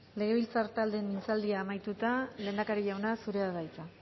legebiltzar taldeen hitzaldia amaituta lehendakari jauna zurea da hitza